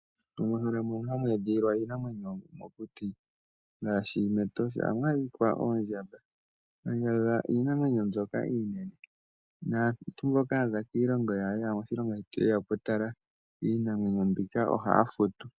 Momahala mono hamu edhililwa iinamwenyo mokuti ohamu adhika oondjamba, oondjamba odho iinamwenyo mbyoka iinene, naantu mboka ya za kiilongo yawo ye ya moshilongo shetu ye ya oku tala iinamwenyo mbika ohaya futu.